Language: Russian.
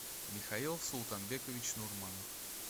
михаил султанбекович нурманов